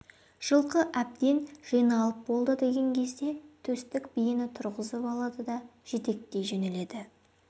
жылқы әбден жиналып болды деген кезде төстік биені тұрғызып алады да жетектей жөнеледі